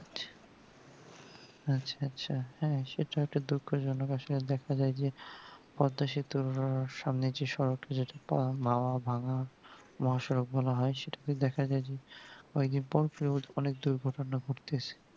আচ্ছা আচ্ছা হ্যাঁ সেটা একটা দুঃখ জনক আসোলে দেখা যাই যে পদ্মা সেতুর সামনে যে সড়ক যেটা তো মামা ভাঙা মহা সড়ক বলা হয় সেটাকে দেখা যাই যে অনেক দুর্ঘটনা ঘুরতে এসে